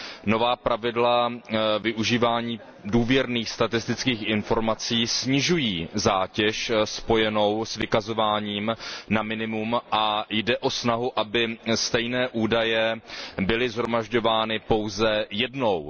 Nová pravidla využívání důvěrných statistických informací snižují zátěž spojenou s vykazováním na minimum a jde o snahu, aby stejné údaje byly shromažďovány pouze jednou.